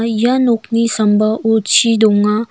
ia nokni sambao chi dong--